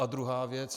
A druhá věc.